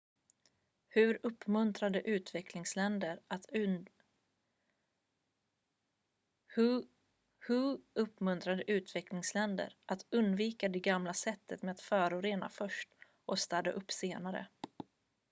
"hu uppmuntrade utvecklingsländer "att undvika det gamla sättet med att förorena först och städa upp senare."".